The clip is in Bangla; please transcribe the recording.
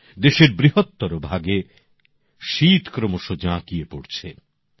দেশের বৃহত্তর ভাগে শীত ক্রমশ জাঁকিয়ে পড়ছে